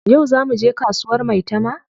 Yau zaa muje kasuwar maitama?